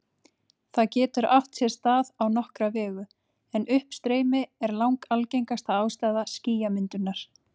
Það getur átt sér stað á nokkra vegu, en uppstreymi er langalgengasta ástæða skýjamyndunar.